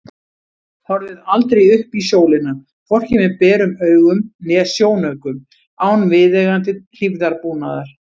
Horfið aldrei upp í sólina, hvorki með berum augum né sjónaukum, án viðeigandi hlífðarbúnaðar.